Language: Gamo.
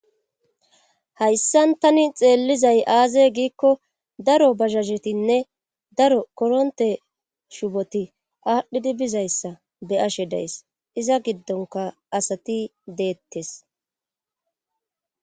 hayssan tani xeellizay aaze giikko daro bazasetinne daro koronte shuboti aadhdhidi bizayssa be ashe days iza giddonka asati deettes